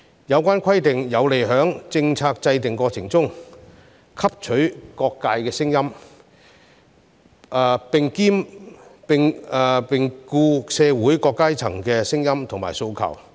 有關規定有利在政策制訂過程中汲取各界聲音，兼顧社會各階層的聲音和訴求。